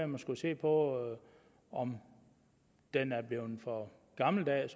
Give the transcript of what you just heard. man skulle se på om den er blevet for gammeldags